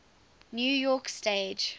new york stage